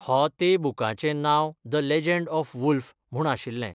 हो तें बुकाचें नांव 'द लॅजंड ऑफ वुल्फ ', म्हूण आशिल्लें.